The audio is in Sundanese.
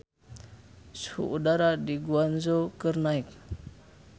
Suhu udara di Guangzhou keur naek